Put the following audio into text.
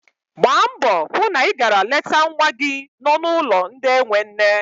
Gbaa mbọ hụ na ị gara leta nwa gị no n'ụlọ ndị enwe nne.